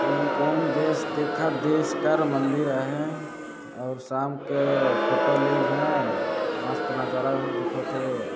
ई कोन देश देखत देश कर मंदिर है और साम के फोटो लीज है मस्त नजारा दिखत हे।